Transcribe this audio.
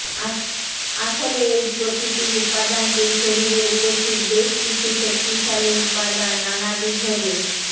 আসলে এই প্রকৃতিক উপাদানটির শরীরে উপস্থিত বেশ কিছু শক্তিশালী উপাদান নানাবিধ রে